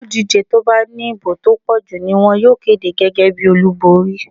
Olùdíje tí ó bá ní ìbò tó pọ̀jù ni wón yóò kéde gẹ́gẹ́ bí olúborín.